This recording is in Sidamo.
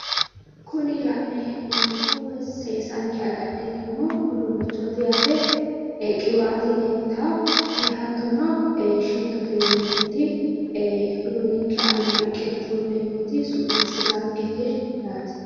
Kuni la'nayi hee'noommohu woyi seesanke agadhineemmo uduunnichchooti yaate qiwaate leeltawo hattono shittote yineemmoti uduunninke aana riqqine fullemmoti su'niissitaanketi yaate